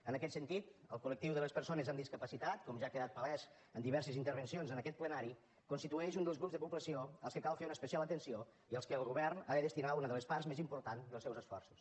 en aquest sentit el col·lectiu de les persones amb discapacitat com ja ha quedat palès en diverses intervencions en aquest plenari constitueix un dels grups de població als quals cal fer una especial atenció i als quals el govern ha de destinar una de les parts més importants dels seus esforços